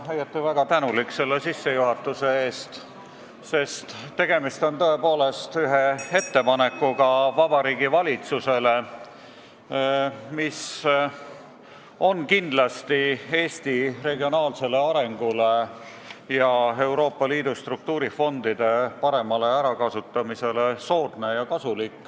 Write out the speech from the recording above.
Ma olen õieti väga tänulik selle sissejuhatuse eest, sest tegemist on tõepoolest sellise ettepanekuga Vabariigi Valitsusele, mis mõjuks kindlasti Eesti regionaalsele arengule ja Euroopa Liidu struktuurifondide kasutamisele soodsalt.